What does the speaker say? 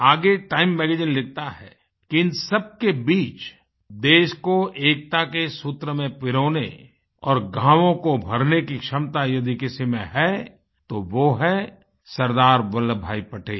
आगे Time magazine लिखता है कि इन सबके बीच देश को एकता के सूत्र में पिरोने और घावों को भरने की क्षमता यदि किसी में है तो वो है सरदार वल्लभभाई पटेल